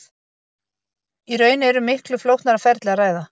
Í raun er um miklu flóknara ferli að ræða.